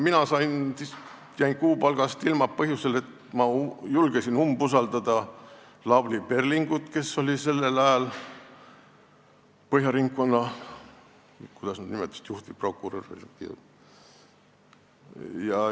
Mina jäin kuupalgast ilma põhjusel, et ma julgesin umbusaldada Lavly Perlingut, kes oli sellel ajal Põhja Ringkonnaprokuratuuri, kuidas neid nimetataksegi, juhtivprokurör.